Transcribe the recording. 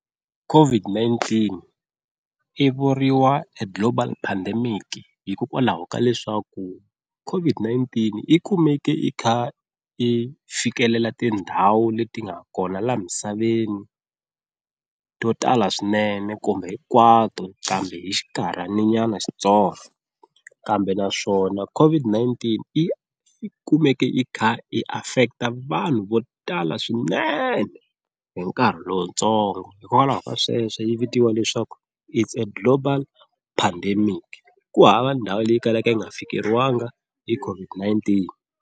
COVID-19 yi vuriwa e global pandemic hikokwalaho ka leswaku COVID-19 yi kumeke i kha i fikelela tindhawu leti nga kona laha misaveni to tala swinene kumbe hinkwato kambe hi xinkarhana nyana xitsongo, kambe naswona COVID-19 yi kumeke yi kha yi affect vanhu vo tala swinene hi nkarhi lowutsongo hikokwalaho ka sweswo yi vitiwa leswaku it's a global pandemic ku hava ndhawu leyi kalaka yi nga fiki fikeriwangi hi COVID-19.